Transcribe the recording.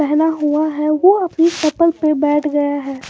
पहना हुआ है वो अपने चपल पे बैठ गया है।